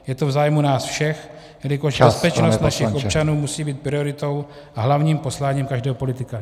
Je to v zájmu nás všech , jelikož bezpečnost našich občanů musí být prioritou a hlavním posláním každého politika.